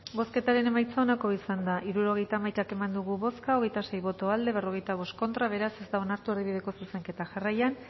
bozketaren emaitza onako izan da hirurogeita hamaika eman dugu bozka hogeita sei boto aldekoa cuarenta y cinco contra beraz ez da onartu erdibideko zuzenketa jarraian